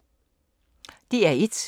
DR1